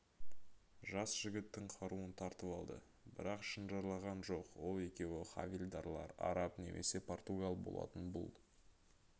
жас жігіттің қаруын тартып алды бірақ шынжырлаған жоқ ол екеуі хавильдарлар араб немесе португал болатын бұл